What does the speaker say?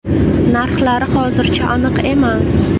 Narxlari hozircha aniq emas.